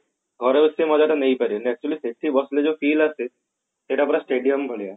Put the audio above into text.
ଘରେ ବସି ସେ ମଜା ଟା ନେଇ ପାରିବନି actually ସେଠି ବସିଲେ ଯୋଉ feel ଆସେ ସେଟା ପୁରା stadium ଭଳିଆ